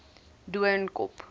doornkop